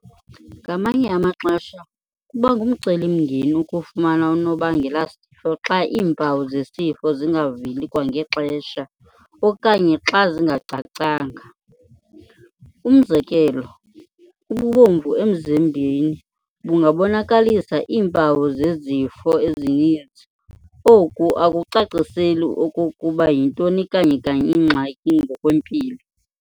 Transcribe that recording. Ngamanye amaxesha kuba ngumceli mngeni ukufumana unobangelasifo xa iimpawu zesifo zingaveli kwangexesha okanye xa zingacacanga. Umzekelo, ububomvu emzimbeni bungabonakalisa iimpawu zezifo ezininzi oku akucaciseli okokuba yintoni kanye-kanye ingxaki ngokwempilo.